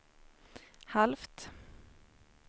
halvt